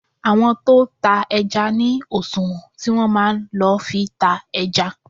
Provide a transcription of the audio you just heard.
Àwọn tó tá ẹja ní òṣùwọ̀n tí wọn máa ń lo fi ta ẹja.